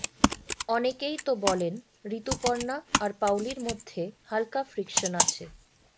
অনেকেই তো বলেন ঋতুপর্ণা আর পাওলির মধ্যে হাল্কা ফ্রিকশন আছে